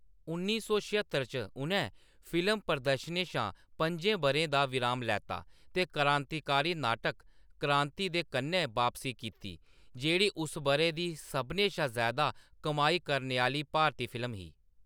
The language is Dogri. उन्नी सौ छेह्त्तर च, उʼनैं फिल्म प्रदर्शनें शा पं'जें बʼरें दा विराम लैता ते क्रांतिकारी नाटक 'क्रांति' दे कन्नै बापसी कीती, जेह्‌‌ड़ी उस बʼरे दी सभनें शा ज़्यादा कमाई करने आह्‌‌‌ली भारती फिल्म ही।